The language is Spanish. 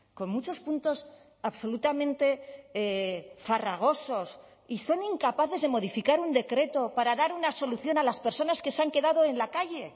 con muchos puntos absolutamente farragosos y son incapaces de modificar un decreto para dar una solución a las personas que se han quedado en la calle